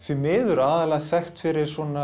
miður aðallega þekkt fyrir